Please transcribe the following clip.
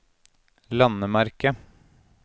landemerke